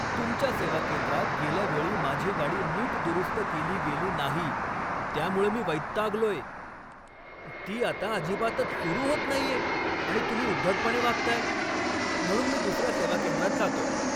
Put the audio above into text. तुमच्या सेवा केंद्रात गेल्या वेळी माझी गाडी नीट दुरुस्त केली गेली नाही त्यामुळं मी वैतागलोय. ती आता अजिबातच सुरू होत नाहीये आणि तुम्ही उद्धटपणे वागताय, म्हणून मी दुसऱ्या सेवा केंद्रात जातोय.